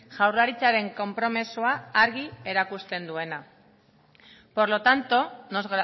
jaurlaritzaren konpromisoa argi erakusten duena por lo tanto nos